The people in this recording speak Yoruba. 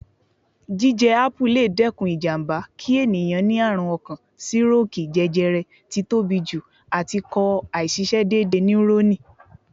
Jíjẹ Ápù le dẹ́kun ìjàmbá kí ẹ̀yàn ni àrùn ọkàn, sírókìì, jẹjẹrẹ, tí tóbi jù, àti kò àìṣisẹ́ déédéé níúrọ́nì.